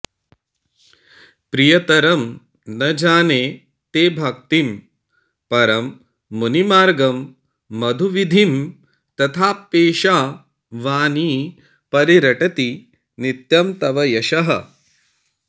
प्रियतरम् न जाने ते भक्तिं परममुनिमार्गं मधुविधिं तथाप्येषा वाणी परिरटति नित्यं तव यशः